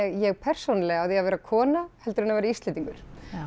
ég persónulega á því að vera kona heldur en að vera Íslendingur